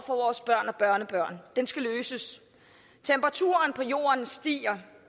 for vores børn og børnebørn den skal løses temperaturen på jorden stiger